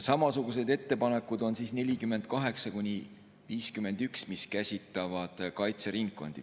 Samasugused ettepanekud on nr 48–51, mis käsitlevad kaitseringkondades …